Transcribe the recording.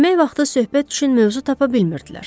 Yemək vaxtı söhbət üçün mövzu tapa bilmirdilər.